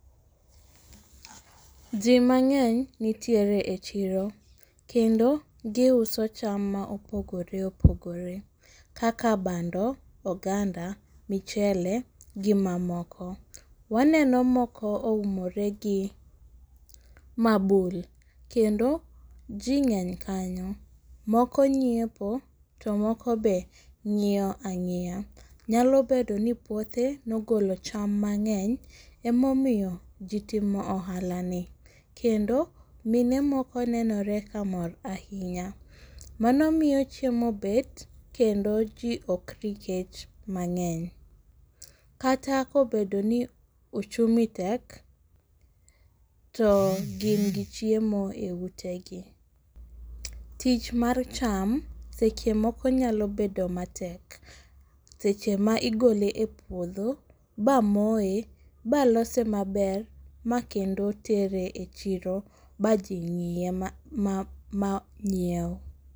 Jii mang'eny nitiere e chiro, kendo giuso cham maopogore opogore kaka bando, oganda, michele gimamoko. Waneno moko oumore gi mabul, kendo jii ng'eny kanyo, moko nyiepo to moko be ng'iyo ang'iya. Nyalo bedoni puothe nogolo cham mang'eny emomiyo jii timo ohalani. Kendo mine moko nenore ka mor ahinya. Mano miyo chiemo bet kendo jii okri kech mang'eny, kata kobedoni uchumi tek, to gin gi chiemo e utegi. Tich mar cham sechemoko nyalo bedo matek, seche ma igole e puodho bamoye, balose maber makendo tere e chiro majii ng'iye mang'ieu.